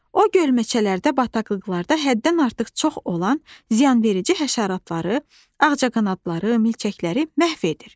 O gölməçələrdə, bataqlıqlarda həddən artıq çox olan ziyanverici həşəratları, ağcaqanadları, milçəkləri məhv edir.